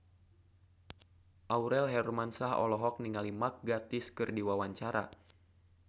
Aurel Hermansyah olohok ningali Mark Gatiss keur diwawancara